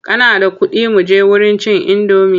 Kana da kuɗi muje wurin cin indomi?